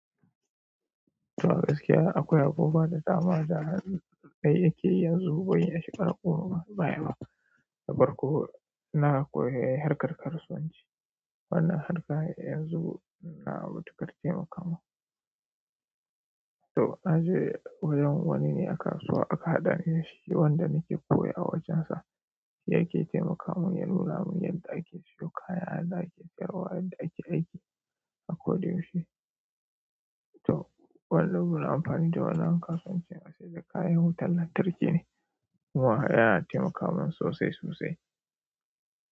To gaskiya akwai abubuwa da dama da dai yake yanzu bai yi a cikin raƙumi ba, da farko na koyi harkar kasuwanci. Wannan harkar yanzu na mutuƙar taimaka mun. To naje wajen wani ne a kasuwa aka haɗani dashi, wanda nike koyo a wajen sa shi yake taimaka mun ya nuna mun yadda ake siyo kaya, yadda ake sayarwa, yadda ake aiki a ko da yaushe. To, wannan gurun amfani da wannan kasuwan kenan, saida kayan wutan lantarki ne kuma yana taimaka mun sosai sosai.